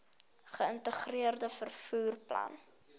geïntegreerde vervoer plan